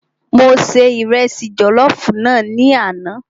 Mo se Ìrẹsi jọ̀lọ́fùú náà ní àná.